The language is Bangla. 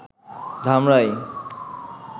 ধামরাই